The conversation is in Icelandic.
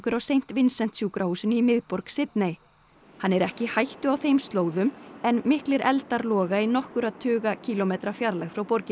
á Saint Vincent sjúkrahúsinu í miðborg Sydney hann er ekki í hættu á þeim slóðum en miklir eldar loga í nokkurra tuga kílómetra fjarlægð frá borginni